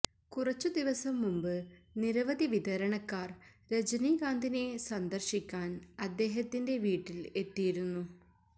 കുറച്ചുദിവസം മുമ്പ് നിരവധി വിതരണക്കാർ രജനികാന്തിനെ സന്ദർശിക്കാൻ അദ്ദേഹത്തിൻറെ വീട്ടിൽ എത്തിയിരുന്നു